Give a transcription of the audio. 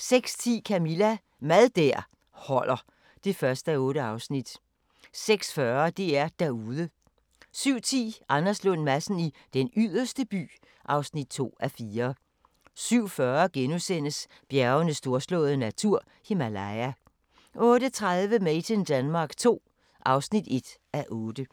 06:10: Camilla – Mad der holder (1:8) 06:40: DR-Derude 07:10: Anders Lund Madsen i Den Yderste By (2:4) 07:40: Bjergenes storslåede natur – Himalaya * 08:30: Made in Denmark II (1:8)